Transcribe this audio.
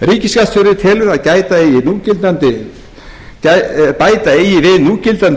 ríkisskattstjóri telur að bæta eigi við núgildandi